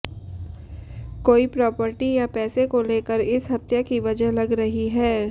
कोई प्रॉपर्टी या पैसे को लेकर इस हत्या की वजह लग रही है